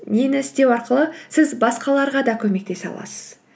нені істеу арқылы сіз басқаларға да көмектесе аласыз